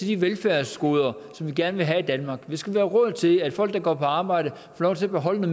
de velfærdsgoder som vi gerne vil have i danmark at der skal være råd til at folk der går på arbejde får lov til at beholde